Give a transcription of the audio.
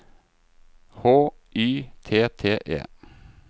H Y T T E